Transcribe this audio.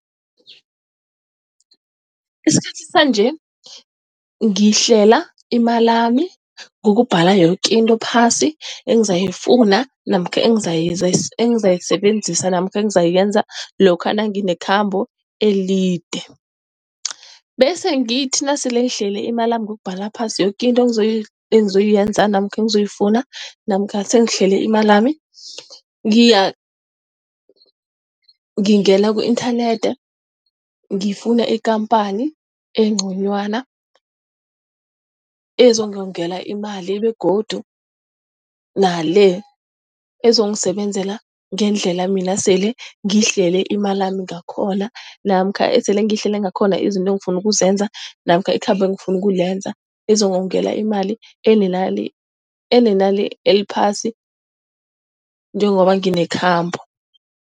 Esikhathini sanje, ngihlela imalami ngokubhala yoke into phasi engizayifuna namkha engizayisebenzisa namkha engizayenza lokha nanginekhambo elide. Bese ngithi nasele ngihlele imalami ngokubhala phasi yoke into engizoyenza namkha engizoyifuna namkha sele sengihlele imalami. Ngingena ku-inthanethi, ngifune ikhamphani engconywana, ezongongela imali begodu nale ezongisebenzela ngendlela mina sele ngihlele imalami ngakhona namkha esele ngihlele ngakhona izinto engifuna ukuzenza namkha ikhambo engifuna ukulenza, izongongela imali enenani eliphasi njengoba nginekhambo.